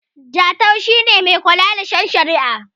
Jatau shi ne Mai kula da shen shari'a